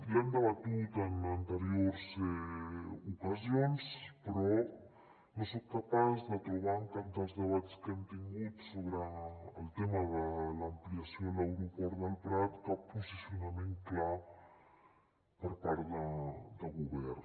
l’hem debatut en an·teriors ocasions però no soc capaç de trobar en cap dels debats que hem tingut so·bre el tema de l’ampliació de l’aeroport del prat cap posicionament clar per part del govern